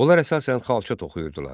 Onlar əsasən xalça toxuyurdular.